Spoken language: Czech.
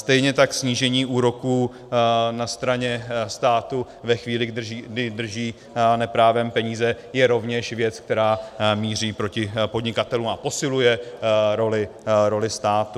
Stejně tak snížení úroků na straně státu ve chvíli, kdy drží neprávem peníze, je rovněž věc, která míří proti podnikatelům a posiluje roli státu.